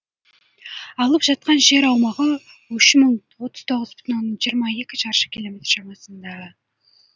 алып жатқан жер аумағы өшімін отыз тоғыз бүтін оннан жиырма екі шаршы километр шамасында